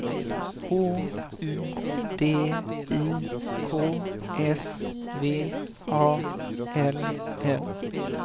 H U D I K S V A L L